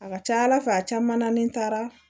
A ka ca ala fɛ a caman na ni n taara